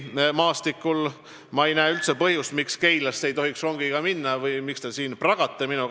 Ma ei näe üldse põhjust, miks Keilasse ei tohiks rongiga minna või miks te siin pragate minuga.